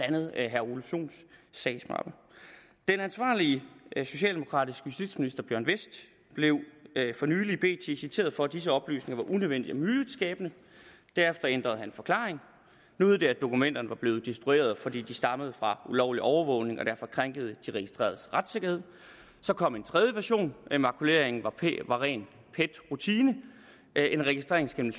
andet herre ole sohns sagsmappe den ansvarlige socialdemokratiske justitsminister bjørn westh blev for nylig i bt citeret for at disse oplysninger var unødvendige og myteskabende derefter ændrede han forklaring nu hed det at dokumenterne var blevet destrueret fordi de stammede fra ulovlig overvågning og derfor krænkede de registreredes retssikkerhed så kom en tredje version at makuleringen var ren pet rutine en registrering skal